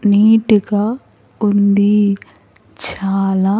Neat గా ఉంది చాలా.